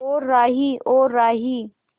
ओ राही ओ राही